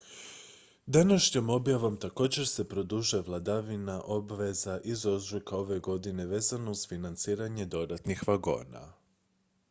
današnjom objavom također se produžuje vladina obveza iz ožujka ove godine vezana uz financiranje dodatnih vagona